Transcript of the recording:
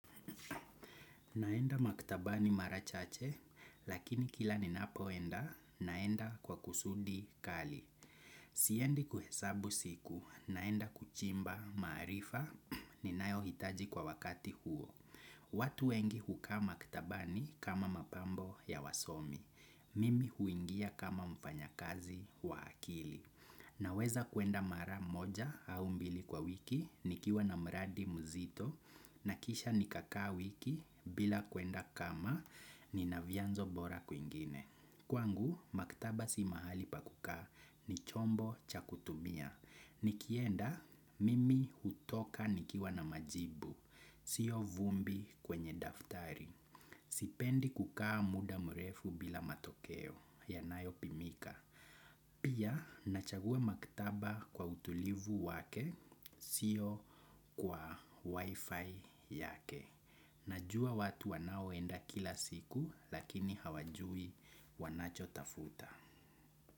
Naenda maktabani mara chache, lakini kila ninapoenda, naenda kwa kusudi kali. Siendi kuhesabu siku, naenda kuchimba maarifa ninayohitaji kwa wakati huo. Watu wengi hukaa maktabani kama mapambo ya wasomi. Mimi huingia kama mfanyakazi wa akili. Naweza kuenda mara moja au mbili kwa wiki, nikiwa na mradi mzito, na kisha nikakaa wiki bila kuenda kama nina vianzo bora kwingine. Kwangu, maktaba si mahali pa kukaa ni chombo cha kutumia. Nikienda, mimi hutoka nikiwa na majibu, siyo vumbi kwenye daftari. Sipendi kukaa muda mrefu bila matokeo, yanayopimika. Pia nachagua maktaba kwa utulivu wake siyo kwa wi-fi yake. Najua watu wanaoenda kila siku lakini hawajui wanachotafuta.